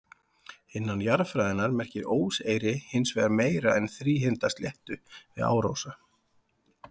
Innan jarðfræðinnar merkir óseyri hins vegar meira en þríhyrnda sléttu við árósa.